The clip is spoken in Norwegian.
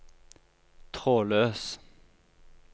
trådløs